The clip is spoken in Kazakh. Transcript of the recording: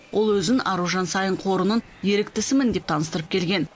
ол өзін аружан саин қорының еріктісімін деп таныстырып келген